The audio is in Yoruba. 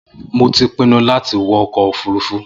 Mo ti pinnu láti wọkọ̀ òfurufu